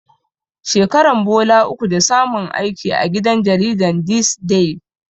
Shekaran bola uku da samun aiki gidan jaridar This Day.